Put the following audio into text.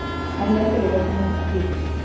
Erlendir ökumenn að flýta sér